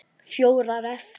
Fjórar eftir.